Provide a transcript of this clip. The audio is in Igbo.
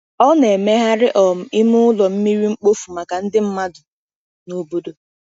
Ọ na-emegharị um ime ụlọ mmiri mkpofu maka ndị mmadụ n’obodo.